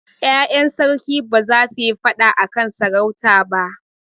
Ƴaƴan sarki ba za su yi faɗa a kan sarauta ba.